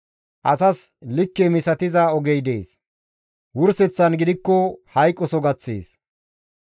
Asas likke misatiza ogey dees; wurseththan gidikko hayqos gaththees.